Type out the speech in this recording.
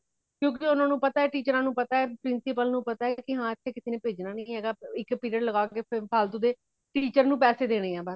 ਕਯੋ ਕਿ ਓਨਾ ਨੂੰ ਪਤਾ ਹੇ teachers ਨੂੰ ਪਤਾ ਹੇ , principal ਨੂੰ ਪਤਾ ਹੇ , ਕਿ ਹਾਂ ਇਥੇ ਕਿਸੇ ਨੇ ਭੇਜਣਾ ਨਹੀਂ ਹੇਗਾ ਇਕ period ਲੱਗਾਂਗੇ ਫੇਰ ਫ਼ਾਲਤੂ ਦੇ teacher ਨੂੰ ਪੈਸੇ ਦੇਣੇ ਹੈ ਬੱਸ